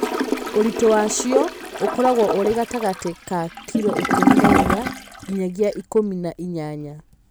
Ũritũ wacio ũkoragwo ũrĩ gatagatĩ ka kiro ikũmi na inya nginyagia ikũmi na inyanya